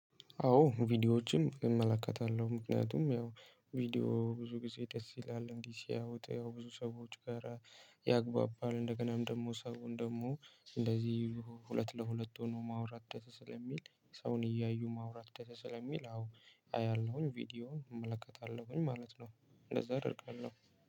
አዎ ቪዲዮዎችም እመለከታለሁ ምክንያቱም ያው ቪዲዮ ብዙ ጊዜ ደስ ይላል እንዲህ ሲያወጡ ያው ብዙ ሰዎች ጋር ያግባባል እንደገናም ደግሞ ሰውን ደግሞ እንደዚህ ሁለት ለሁለት ሆኖ ማውራት ደስ ስለሚል ሰውን እያዩ ማውራት ደስ ስለሚል አዎ አያለሁኝ ቪዲዮ እመለከታለሁኝ ማለት ነው። እንደዛ አደርጋለሁ